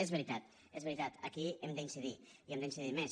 és veritat és veritat aquí hem d’incidir i hem d’incidir més